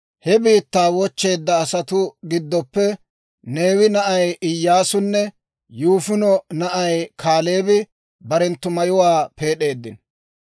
He biittaa wochcheedda asatuu giddoppe Neewe na'ay Iyyaasunne Yifune na'ay Kaaleebi barenttu mayuwaa peed'eeddino.